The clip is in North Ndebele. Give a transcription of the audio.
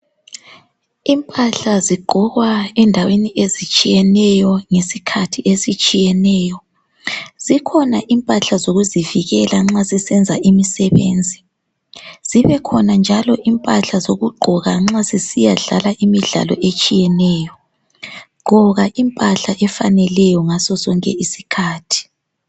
Impahla zigqokwa endaweni ezitshiyeneyo ngesikhathi ezitshiyeneyo zikhona impahla zokuzivikela nxa sisenza imsebenzi. Zibekhona njalo impahla zokugqoka nxa sisiyadlala imidlalo etshiyeneyo. Gqoka impahla efaneleyo ngaso sonke isikhathi.